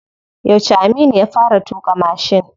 Yauce Aminu ya fara tuƙa mashin?